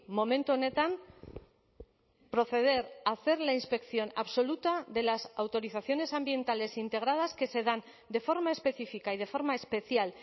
momentu honetan proceder a hacer la inspección absoluta de las autorizaciones ambientales integradas que se dan de forma específica y de forma especial